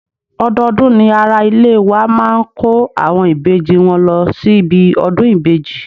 Odọọdún ni ara ilé wa máa ń kó àwọn ìbejì wọn lọ síbi ọdún ìbejì.